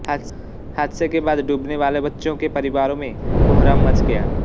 हादसे के बाद डूबने वाले बच्चों के परिवारों में कोहराम मच गया